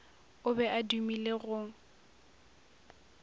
o be a dumile go